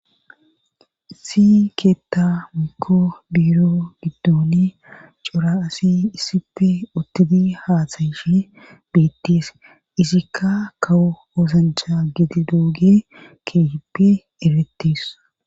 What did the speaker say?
ISsi keetta mikko biiro giddoni cora asi issippe ottidi haatsayishi biittis isikka kawo osancha geti dooge keehippe eretis.